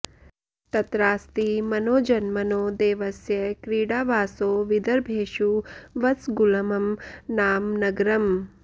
तत्रास्ति मनोजन्मनो देवस्य क्रीडावासो विदर्भेषु वत्सगुल्मं नाम नगरम्